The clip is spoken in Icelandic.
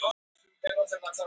Þau eru góðir vinir